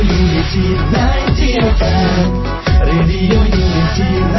radio unity ninety F